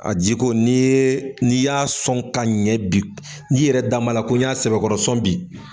A jiko n'i ye n'i y'a sɔn ka ɲɛ bi n'i yɛrɛ da n b'a la ko i y'a sɛbɛkɔrɔsɔn bi